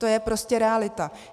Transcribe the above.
To je prostě realita.